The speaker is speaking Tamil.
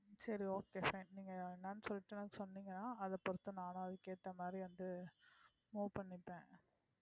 சரி okay fine நீங்க என்னன்னு சொல்லிட்டு சொன்னீங்கன்னா அத பொறுத்து நானும் அதுக்கு ஏத்த மாதிரி வந்து move பண்ணிப்பேன்